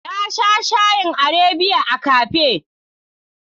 Na sha shayin Arabiya a cafe.